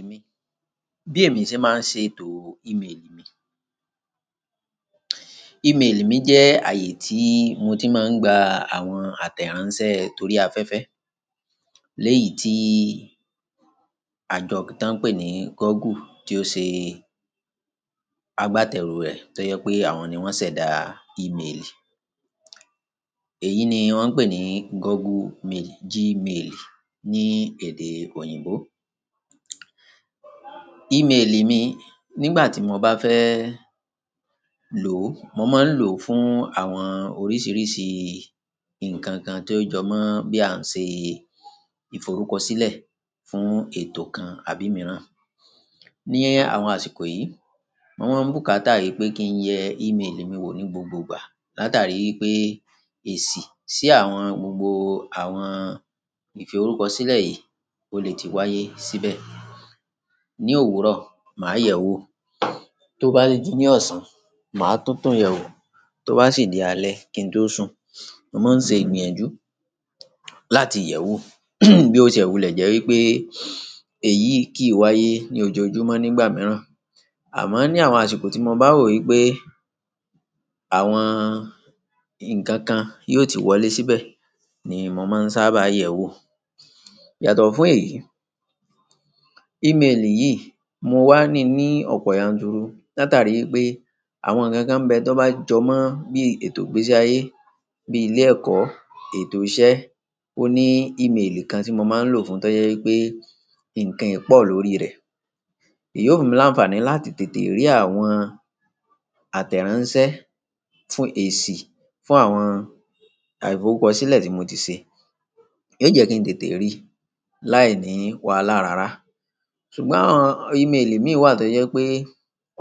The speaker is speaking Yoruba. Ìméèlì mi, bí èmi ṣe máa ń ṣe ètò ìméèlì mi. Ìméèlì mi jẹ́ ààyè tí mo ti máa ń gba àwọn àtẹ̀ránsẹ́ torí afẹ́fẹ́. Lẹ́yìn tí àjọ tí wọ́n ń pè ní Google tí ó ṣe agbátẹrù rẹ̀ tó jẹ́ pé àwọn ni wọ́n ṣẹ̀dá ìméèlì. Èyí ni wọ́n ń pè ní Google mail, Gmail ní èdè òyìnbó. Email mi nígbà tí mo bá fẹ́ lò ó, mo máa ń lò fún àwọn oríṣiríṣi nǹkan kan tó jọ mọ́ bí a ń ṣe ìforúkọsílẹ̀ fún ètò kan àbí mìíràn. Ní àwọn àsìkò yìí, mo máa ń bùkátà rí pé kí n yẹ email mi wò ní gbogbo ìgbà. Látàrí pé èsì sí àwọn gbogbo àwọn ìfi orúkọ sílẹ̀ yìí kò lè ti wáyé síbẹ̀. Ni òwúrọ̀, màá yẹ̀ wò. Tó bá déjí ní ọ̀sán, màá tún tún yẹ̀ wò. Tó bá sì dé alẹ́ kíntò sùn, mo máa ń ṣe ìgbìyànjú láti yẹ̀ wò. Bí ó ṣe wù lẹ́ jẹ́ wí pé èyí kì í wáyé ní ojoojúmọ́ nígbà mìíràn. Àmọ́ ní àwọn àsìkò tí mo bá rò wí pé àwọn ǹkan kan yóò ti wọlé síbẹ̀ ni mo máa ń sábà yẹ̀ wò. Yàtọ̀ fún èyí, email yìí mo wá ní ní ọ̀pọ̀ yanturu. Látàrí pé àwọn ǹkan kan bẹ́ tó bá jọ mọ́ bí ètò ìgbésí ayé, bí ilé ẹ̀kọ́, ètò iṣẹ́, ó ní email kan tí mo máa ń lò fún, tó jẹ́ wí pé nǹkan pọ̀ lórí rẹ̀. Èyí ó máa ń láǹfààní láti tètè rí àwọn àtẹ̀ránsẹ́ fún èsì, fún àwọn àìfowókọsílẹ̀ tí mo ti ṣe. Yóò jẹ́ kí n tètè rí, láìní wàhálà rara. Ṣùgbọ́n àwọn email mi wà tó jẹ́ pé